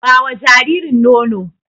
Ba wa jaririn nono!